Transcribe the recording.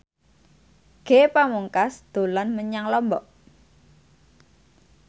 Ge Pamungkas dolan menyang Lombok